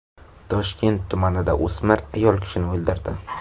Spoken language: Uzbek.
Toshkent tumanida o‘smir ayol kishini o‘ldirdi.